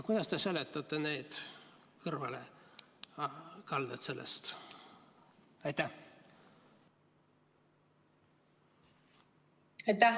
Kuidas te seletate neid kõrvalekaldeid sellest?